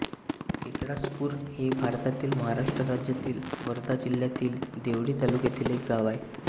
एकळासपूर हे भारतातील महाराष्ट्र राज्यातील वर्धा जिल्ह्यातील देवळी तालुक्यातील एक गाव आहे